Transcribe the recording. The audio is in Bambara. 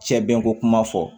Cɛ bɛnko kuma fɔ